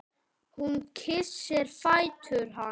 Hún kyssir fætur hans.